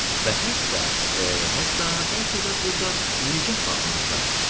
Və hətta, hətta bəlkə də burda nigah bağlanacaq.